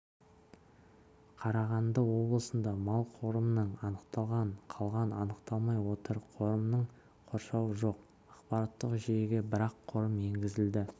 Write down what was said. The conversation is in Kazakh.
қарағанды облысында мал қорымының анықталған қалған анықталмай отыр қорымның қоршауы жоқ ақпараттық жүйеге бір-ақ қорым енгізілді